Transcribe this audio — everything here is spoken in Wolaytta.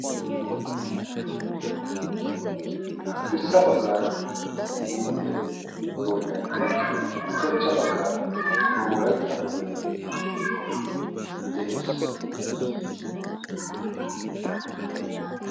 Haddirssa baggaara issi yittire boynaynne ushachcha baggaara wolaytta boynayi de'es.